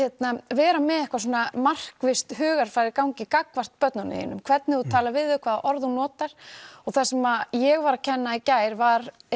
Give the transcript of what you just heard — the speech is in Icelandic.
vera með eitthvað markvisst hugarfar í gangi gagnvart börnunum þínum hvernig þú talar við þau hvaða orð þú notar og það sem ég var að kenna í gær var